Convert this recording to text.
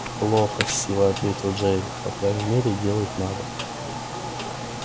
плохо с силой ответил джаэль по крайней мере делать надо